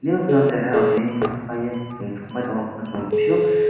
nuk jon cehara bo tini paie chung chon pass.